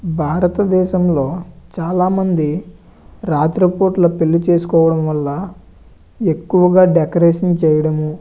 చేసుకోవడం వల్ల భారతదేశంలో చాలా రాత్ర పోట్ల పెళ్లి చేసుకోవడం వల్ల ఎక్కువగా డెకరేషన్ చేయడం రంగుల మరియు దానితో పాటు రంగురంగుల లైట్లను పెట్టి అందరు చూడ్డానికి కనువిందుగా ఉండేటట్టు తయారు చేస్తూ ఉంటారు.